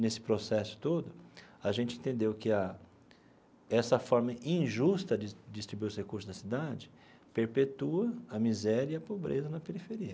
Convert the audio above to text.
Nesse processo todo, a gente entendeu que a essa forma injusta de distribuir os recursos da cidade perpetua a miséria e a pobreza na periferia.